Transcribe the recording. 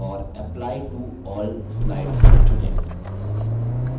right click करें और apply to all slides चुनें